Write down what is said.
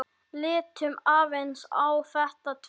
Lítum aðeins á þetta tvennt.